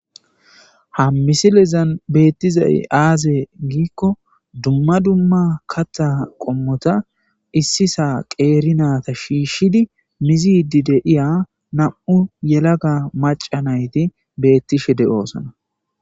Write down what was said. Ha misilezan beettizay aze giikko dumma dumma kaththa qommota issisa qeeri naata shiishshidi mizidi de'iya na'u yelaga macca nayti beettishe de'osona.